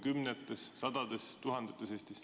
Kas neid on Eestis kümnetes, sadades või tuhandetes?